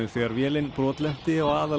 þegar vélin brotlenti á